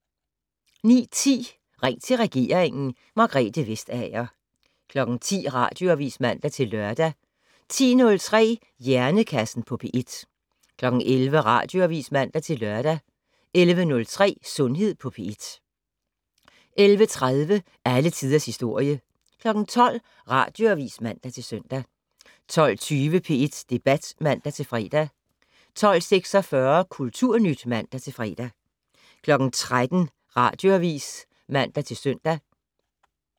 09:10: Ring til regeringen: Margrethe Vestager 10:00: Radioavis (man-lør) 10:03: Hjernekassen på P1 11:00: Radioavis (man-lør) 11:03: Sundhed på P1 11:30: Alle tiders historie 12:00: Radioavis (man-søn) 12:20: P1 Debat (man-fre) 12:46: Kulturnyt (man-fre) 13:00: Radioavis (man-søn)